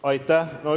Aitäh!